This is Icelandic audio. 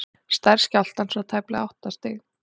stærð skjálftans var tæplega átta stig